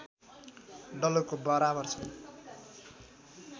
डलरको बराबर छ